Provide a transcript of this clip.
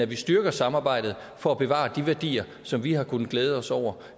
vi styrker samarbejdet for at bevare de værdier som vi har kunnet glæde os over